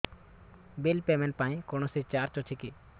bill payment ପାଇଁ କୌଣସି charge ଅଛି କି